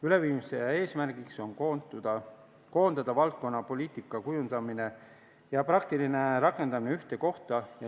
Üleviimise eesmärk on koondada valdkonna poliitikakujundamine ja praktiline rakendamine ühte kohta.